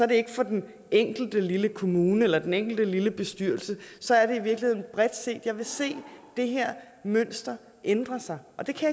det ikke for den enkelte lille kommune eller den enkelte lille bestyrelse så er det i virkeligheden bredt set jeg vil se det her mønster ændre sig og det kan